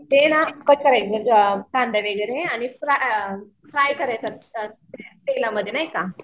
ते ना कट करायचे म्हणजे कांदा वगैरे आणि फ्राय करायचं तेलामध्ये नाही का